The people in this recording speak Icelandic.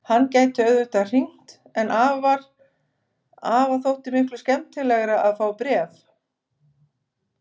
Hann gæti auðvitað hringt en afa þótti miklu skemmtilegra að fá bréf.